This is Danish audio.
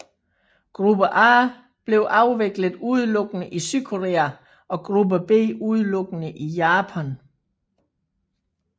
Gruppe A blev afviklet udelukkende i Sydkorea og Gruppe B udelukkende i Japan